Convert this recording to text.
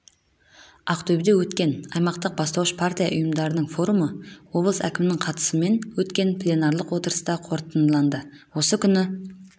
ақтөбеде өткен аймақтық бастауыш партия ұйымдарының форумы облыс әкімінің қатысымен өткен пленарлық отырыста қорытындыланды осы күні